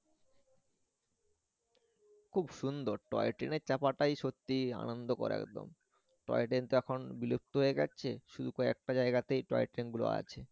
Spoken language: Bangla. খুব সুন্দর টয় ট্রেনে চাপাটাই সত্যি আনন্দকর একদম টয় ট্রেন তো এখন বিলুপ্ত হয়ে যাচ্ছে শুধু একটা জায়াগাতেই টয় ট্রেন গুলো আছে।